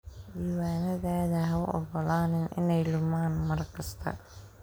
Diiwaanadaada ha u ogolaanin inay lumaan mar kasta.